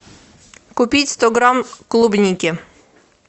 купить сто грамм клубники